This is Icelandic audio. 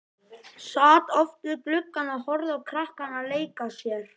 Sat oft við gluggann og horfði á krakkana leika sér.